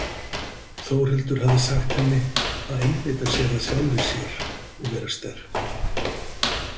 Þórhildur hafði sagt henni að einbeita sér að sjálfri sér og vera sterk.